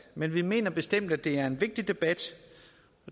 men vi mener bestemt at det er en vigtig debat